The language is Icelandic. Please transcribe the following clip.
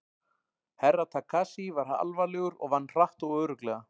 Herra Takashi var alvarlegur og vann hratt og örugglega.